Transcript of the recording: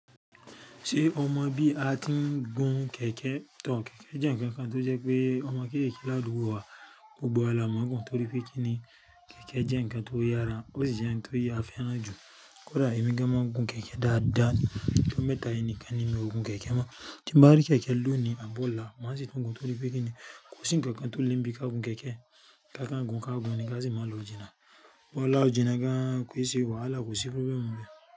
Ṣé ọmọ bí a tí ń gún kẹ̀kẹ́ tọọ̀ kẹ̀kẹ́ jẹ́ ǹkan kan tó jẹ́ pé ọmọ kéékèèké ládùúgbò wa ó gbọ́ àlá máa ń gùn torí pé kí ni kẹ̀kẹ́ jẹ́ ǹkan tó yára, ó sì jẹ́ ǹkan tó yà fẹ́ràn jù. Kódà èmi gan máa ń gun kẹ̀kẹ́ dáadáa ni, kí ó mẹ́ta yìí ni kí a nímọ̀ gun kẹ̀kẹ́ mọ́. Ṣé ń bá rí kẹ̀kẹ́ lọ ní àbọ̀là, má sì tún gun torí pé kí ni kò sí ǹkan kan tó le bí i ká gun kẹ̀kẹ́. Ká ká ń gun, ká gun ní ká sì máa lo òjìná. Bọ́ là òjìná gan, kó ì ṣe wàhálà kó sì fi bẹ́ẹ̀ mọ́ bẹ́ẹ̀.